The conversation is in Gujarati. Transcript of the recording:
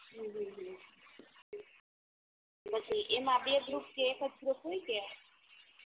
ઉહ પછી એમાં બે ગ્રુપ કે એકજ ગ્રુપ હોય કે